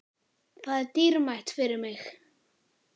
Það er dýrmætt fyrir mig.